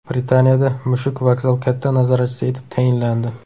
Britaniyada mushuk vokzal katta nazoratchisi etib tayinlandi.